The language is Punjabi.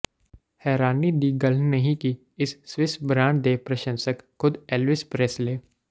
ਹੈਰਾਨੀ ਦੀ ਗੱਲ ਨਹੀਂ ਕਿ ਇਸ ਸਵਿਸ ਬ੍ਰਾਂਡ ਦੇ ਪ੍ਰਸ਼ੰਸਕ ਖ਼ੁਦ ਏਲਵਿਸ ਪ੍ਰੈਸਲੇ